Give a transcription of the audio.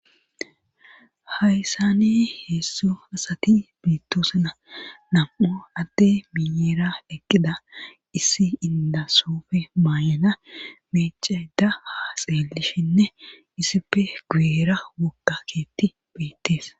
Hayssane heessu asati bittoosana nam'o atte miyeera eqqida issi indasoofe maayana meeceda ha xeelishinne issife guuyera wokkaketti beettees.